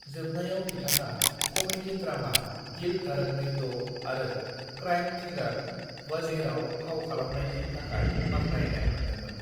जोबनायाव बिथाङा कमेदि-द्रामा 'दिल धड़कने दो' आरो क्राइम थ्रिलार 'वजीर'आव फाव खालामनायनि थाखाय बाखनायनाय मोनदोंमोन।